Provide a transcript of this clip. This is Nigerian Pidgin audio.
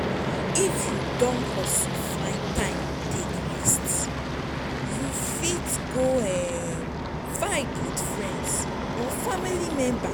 if you don hustle find time take rest you fit go um vibe with friend or family member